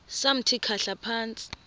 samthi khahla phantsi